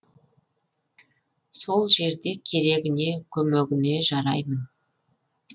сол жерде керегіне көмегіне жараймын